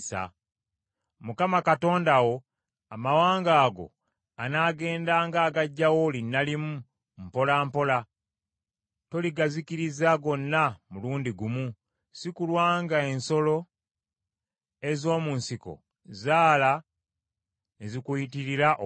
Mukama Katonda wo amawanga ago anaagendanga agaggyawo linnalimu, mpola mpola. Toligazikiriza gonna mulundi gumu, si kulwa ng’ensolo ez’omu nsiko zaala ne zikuyitirira obungi.